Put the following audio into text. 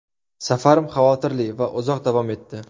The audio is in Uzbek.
Safarim xavotirli va uzoq davom etdi.